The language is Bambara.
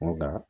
N ko nka